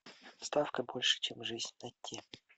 ставка больше чем жизнь найти